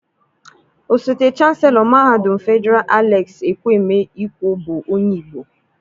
Osote Chaselo Mahadum Fedịral Alex Ekwueme Ikwo bụ onye Igbo.